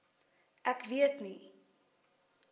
ek weet nie